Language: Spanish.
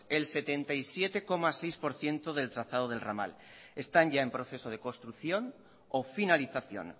el setenta y siete coma seis por ciento del trazado del ramal están ya en proceso de construcción o finalización